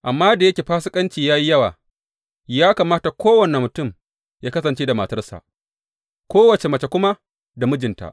Amma da yake fasikanci ya yi yawa, ya kamata kowane mutum yă kasance da matarsa, kowace mace kuma da mijinta.